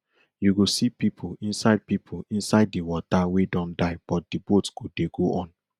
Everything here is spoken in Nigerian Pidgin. you go see pipo inside pipo inside di water wey don die but di boats go dey go on